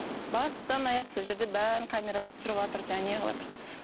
бастан аяқ сол жерде бәрін камераға түсіріватыр жаңағы не қылыватыр